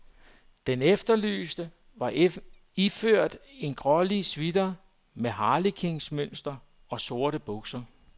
Den efterlyste var iført en grålig sweater med harlekinmønster og sorte bukser.